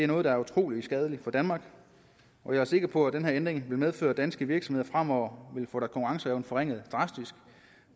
noget der er utrolig skadeligt for danmark og jeg er sikker på at den her ændring vil medføre at danske virksomheder fremover vil få deres konkurrenceevne forringet drastisk